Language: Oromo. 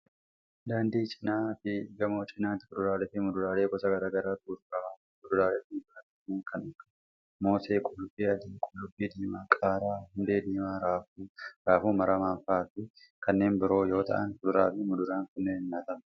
Daandii cinaa fi gamoo cinaatti kuduraalee fi muduraalee gosa garaa garaatu gurguramaa jira. Kuduraalee fi muduraaleen kunneen kan akka:moosee, qullubbii adii, qullubbii diimaa, qaaraa, hundee diimaa, raafuu, raafuu maramaa faa fi kanneen biroo yoo ta'an, kuduraa fi muduraan kunneen nyaataf oolu.